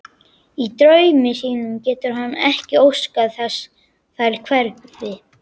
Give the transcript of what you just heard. Í draumi sínum getur hann ekki óskað þess þær hverfi.